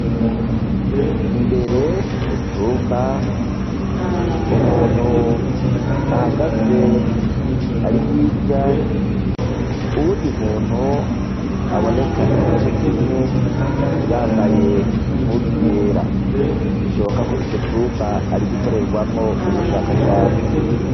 Imbere mu cumba, umuntu ahagaze ari hirya, uwundi muntu aboneka igice kimwe yambaye impuzu yera. Bishoboka ko ico cumba ari igikorerwamwo ubushakashatsi.